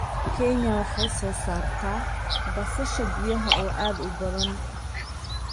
Kenya waxay soo saartaa basasha biyaha oo aad u badan.